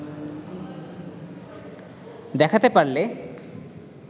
দেখাতে পারলে